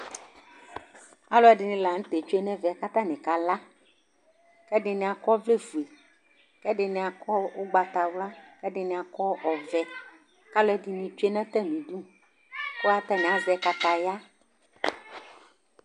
Alu ɛɖɩnɩ la nutɛ tsue nɛvɛ katanɩ kala Ɛɖɩnɩ akɔ ɔvlɛ foe, kɛɖɩnɩ akɔ ugbata wla, kɛɗɩnɩ kɔ ɔvɛ, kaluɛnɩnɩ tsue natamɩɖu katani azɛ kataya